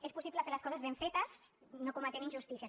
és possible fer les coses ben fetes no cometent injustícies